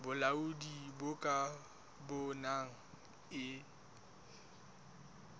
bolaodi bo ka bonang e